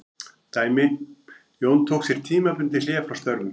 Dæmi: Jón tók sér tímabundið hlé frá störfum.